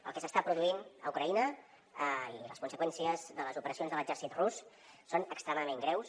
el que s’està produint a ucraïna i les conseqüències de les operacions de l’exèrcit rus són extremadament greus